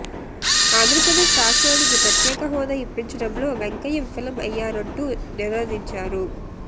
ఆంధ్రప్రదేశ్ రాష్ట్రానికి ప్రత్యేక హోదా ఇప్పించడంలో వెంకయ్య విఫలం అయ్యారంటూ నినదించారు